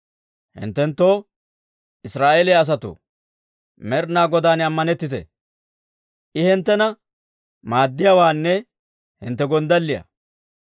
Hinttenoo, Israa'eeliyaa asatoo, Med'inaa Godaan ammanettite! I hinttena maaddiyaawaanne hintte gonddalliyaa.